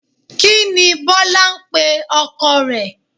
Kí ni Bọ́lá ń pe ọkọ rẹ̀